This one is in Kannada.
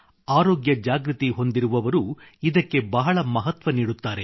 ಆರೋಗ್ಯ ಜಾಗೃತಿ ಹೊಂದಿರುವರು ಇದಕ್ಕೆ ಬಹಳ ಮಹತ್ವ ನೀಡುತ್ತಾರೆ